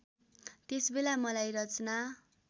त्यसबेला मलाई रचना